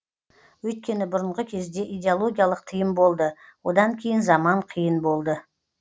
өйткені бұрынғы кезде идеологиялық тыйым болды одан кейін заман қиын болды